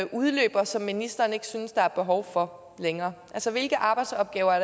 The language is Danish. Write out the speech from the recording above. udløber og som ministeren ikke synes der er behov for længere altså hvilke arbejdsopgaver er